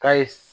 K'a ye